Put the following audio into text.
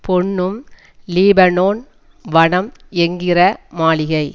பொன்னும் லீபனோன் வனம் என்கிற மாளிகை